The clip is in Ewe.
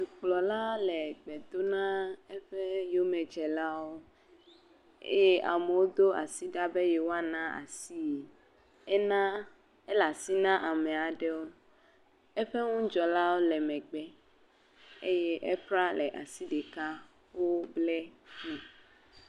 Dukplɔla le gbe dom na eƒe yomedzelawo eye amewo do asi ɖa be yewoana asii, enaa, ele asi na amea ɖewo, eƒe ŋudzɔlawo le megbe eye…